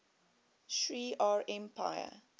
shi ar empire